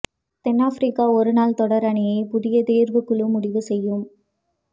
தென்னாப்பிரிக்க ஒருநாள் தொடா் அணியை புதிய தோ்வுக் குழு முடிவு செய்யும்